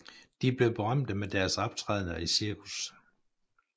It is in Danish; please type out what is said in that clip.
De blev berømte med deres optrædender i cirkus